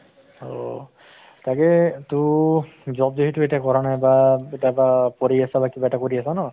অহ তাকে তো job যিহেতু এতিয়া কৰা নাই বা বা কৰি আছা বা কিবা এটা কৰি আছা ন?